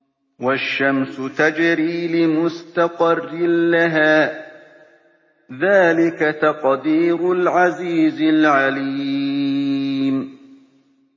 وَالشَّمْسُ تَجْرِي لِمُسْتَقَرٍّ لَّهَا ۚ ذَٰلِكَ تَقْدِيرُ الْعَزِيزِ الْعَلِيمِ